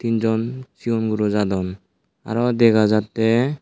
jon seon guro jadon aro dega jattey.